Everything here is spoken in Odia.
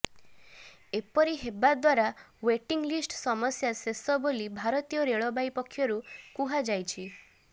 ଏପରି ହେବା ଦ୍ୱାରା େଓ୍ବଟିଙ୍ଗ୍ ଲିଷ୍ଟ ସମସ୍ୟା ଶେଷ ବୋଲି ଭାରତୀୟ ରେଳବାଇ ପକ୍ଷରୁ ପୁହାଯାଇଛି